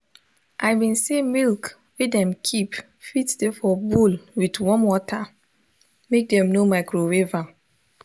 i been say milk wey dem keep fit de for bowl with warm water make dem no microwave am